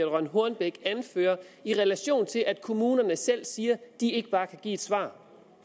rønn hornbech anfører i relation til at kommunerne selv siger at de ikke bare kan give et svar